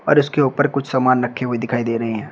और इसके ऊपर कुछ सामान रखे हुए दिखाई दे रहे हैं।